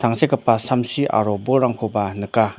tangsekgipa samsi aro bolrangkoba nika.